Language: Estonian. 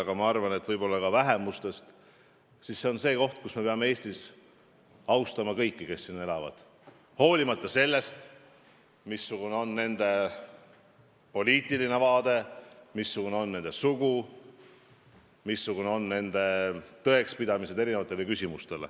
Aga ma arvan, et mis puutub vähemustesse, siis me peame Eestis austama kõiki, kes siin elavad, olenemata sellest, missugused on kellegi poliitilised vaated, missugune on kellegi sugu, missugused on inimeste tõekspidamised eri küsimustes.